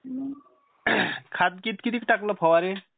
खात कितीक टाकलं फवारणी?